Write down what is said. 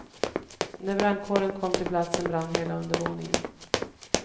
När brandkåren kom till platsen brann hela undervåningen.